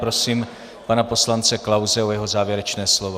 Prosím pana poslance Klause o jeho závěrečné slovo.